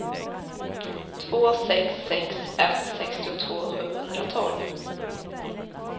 två sex sex ett sextiotvå sjuhundratolv